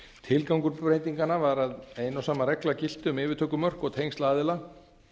tilgangur breytinganna var að ein og sama regla gilti um yfirtökumörk og tengsl aðila